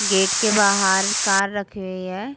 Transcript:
Gate के बाहार car रखी हुई है।